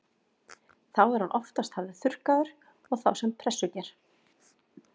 Þá er hann oftast hafður þurrkaður og þá sem pressuger.